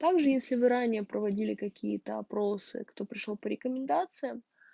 также если вы ранее проводили какие-то опросы кто пришёл по рекомендациям